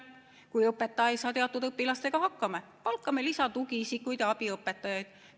Kui õpetaja ei saa teatud õpilastega hakkama, palkame lisatugiisikuid ja abiõpetajaid.